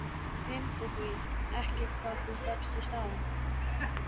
Gleymdu því ekki hvað þú fékkst í staðinn.